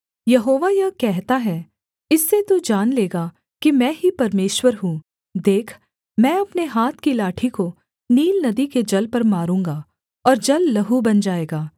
यहोवा यह कहता है इससे तू जान लेगा कि मैं ही परमेश्वर हूँ देख मैं अपने हाथ की लाठी को नील नदी के जल पर मारूँगा और जल लहू बन जाएगा